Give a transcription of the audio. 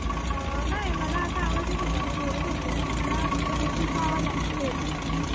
अह नाय मला आता आवाज येत होता मी बोलत होती ना मला अह तुझा आवाज actually येत नव्हता.